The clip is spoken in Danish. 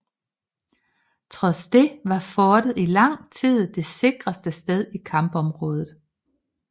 Trods det var fortet i lang tid det sikreste sted i kampområdet